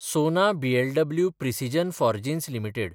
सोना BLW Precision Forgings limited